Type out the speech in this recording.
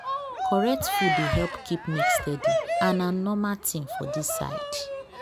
correct food dey help keep milk steady and na normal thing for this side